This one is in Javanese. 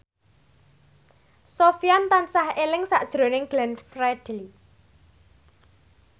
Sofyan tansah eling sakjroning Glenn Fredly